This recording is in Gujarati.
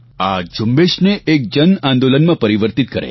આ ઝુંબેશ ને એક જનઆંદોલનમાં પરિવર્તિત કરે